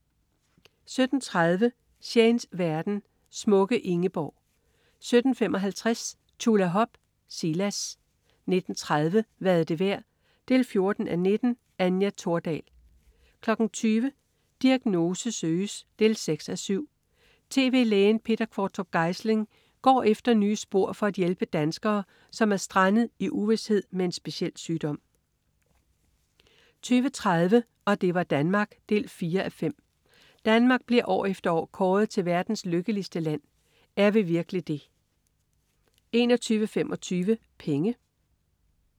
17.30 Shanes verden. Smukke Ingeborg 17.55 Tjulahop. Silas 19.30 Hvad er det værd 14:19. Anja Thordal 20.00 Diagnose søges 6:7. Tv-lægen Peter Qvortrup Geisling går efter nye spor for at hjælpe danskere, som er strandet i uvished med en speciel sygdom 20.30 Og det var Danmark 4:5. Danmark bliver år efter år kåret til verdens lykkeligste land. Er vi virkelig det? 21.25 Penge